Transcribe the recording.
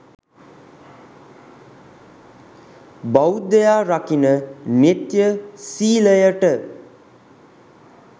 බෞද්ධයා රකින නිත්‍ය සීලයට